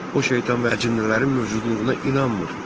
O şeytan və əcinnələrin mövcudluğuna inanmır.